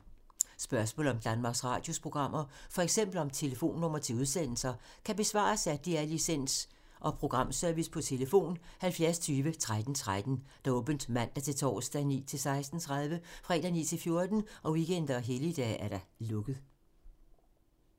Spørgsmål om Danmarks Radios programmer, f.eks. om telefonnumre til udsendelser, kan besvares af DR Licens- og Programservice: tlf. 70 20 13 13, åbent mandag-torsdag 9.00-16.30, fredag 9.00-14.00, weekender og helligdage: lukket.